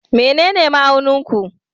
Menene ma'aunin ku?